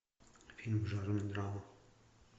фильм в жанре драма